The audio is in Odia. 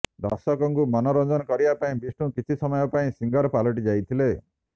ଦର୍ଶକଙ୍କୁ ମନୋରଞ୍ଜନ କରିବା ପାଇଁ ବିଷ୍ଣୁ କିଛି ସମୟ ପାଇଁ ସିଙ୍ଗର ପାଲଟି ଯାଇଥିଲେ